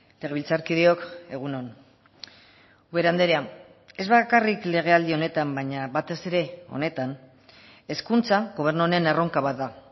legebiltzarkideok egun on ubera andrea ez bakarrik legealdi honetan baina batez ere honetan hezkuntza gobernu honen erronka bat da